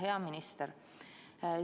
Hea minister!